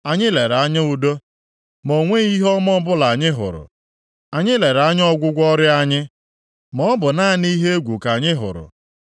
Anyị lere anya udo, ma o nweghị ihe ọma ọbụla anyị hụrụ. Anyị lere anya ọgwụgwọ ọrịa anyị, maọbụ naanị ihe egwu ka anyị hụrụ.